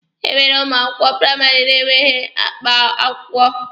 E nwere ụmụ akwụkwọ praịmarị na-enweghị akpa akwụkwọ.